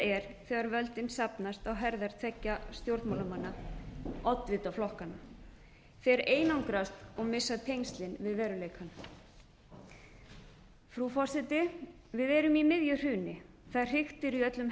er þegar völdin safnast á herðar tveggja stjórnmálamanna oddvita flokkanna þeir einangrast og missa tengslin við veruleikann frú forseti við erum í miðju hruni það hriktir í öllum